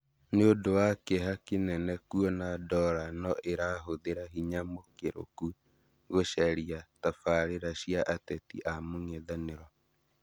Nĩ ũndũ wa kĩeha kĩnene kwona Dola noĩrahũthĩra hinya mũkĩrũku gũcaria tabarĩra cia ateti a mũng'ethanĩro